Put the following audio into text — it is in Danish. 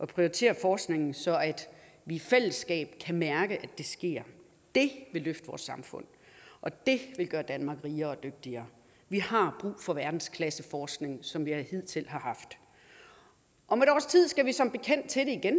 prioriterer forskningen så vi i fællesskab kan mærke at det sker det vil løfte vores samfund og det vil gøre danmark rigere og dygtigere vi har brug for den verdensklasseforskning som vi hidtil har haft om et års tid skal vi som bekendt til det igen